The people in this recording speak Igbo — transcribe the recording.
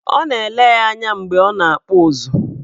Ọ na-ele ya anya mgbe ọ na-akpụ ụzụ.